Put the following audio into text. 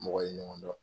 Mɔgɔ ye ɲɔgɔn dɔn